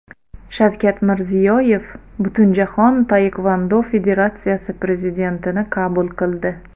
Shavkat Mirziyoyev Butunjahon taekvondo federatsiyasi prezidentini qabul qildi.